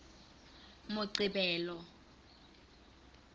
moqebelo